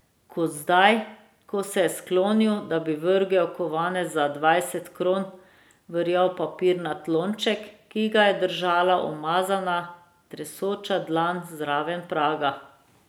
Kot zdaj, ko se je sklonil, da bi vrgel kovanec za dvajset kron v rjav papirnat lonček, ki ga je držala umazana, tresoča dlan zraven praga.